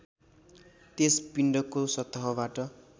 त्यस पिण्डको सतहबाट